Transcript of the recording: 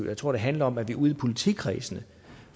jeg tror det handler om at vi ude i politikredsene